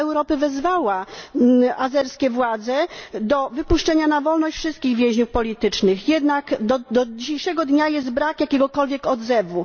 Rada Europy wezwała azerskie władze do wypuszczenia na wolność wszystkich więźniów politycznych, jednak do dzisiejszego dnia brak jest jakiegokolwiek odzewu.